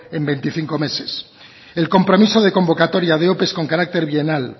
en veinticinco meses el compromiso de convocatoria de ope con carácter bienal